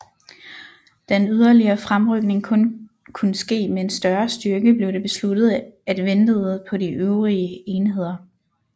Da en yderligere fremrykning kun kunne ske med en større styrke blev det besluttet at ventede på de øvrige enheder